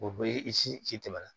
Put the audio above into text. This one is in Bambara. O bɛ i si tɛmɛ na